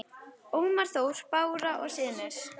Ómar Þór, Bára og synir.